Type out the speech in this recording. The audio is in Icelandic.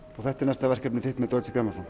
þetta er næsta verkefni þitt með Deutsche